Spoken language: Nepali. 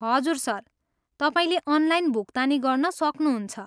हजुर, सर, तपाईँले अनलाइन भुक्तानी गर्न सक्नुहुन्छ।